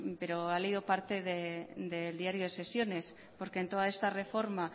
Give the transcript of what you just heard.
pero ha leído parte del diario de sesiones porque en toda esta reforma